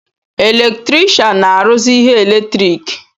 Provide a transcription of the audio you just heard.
Eletrikshan na-arụzị ihe eletriki